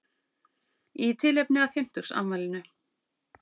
Í tilefni af fimmtugsafmælinu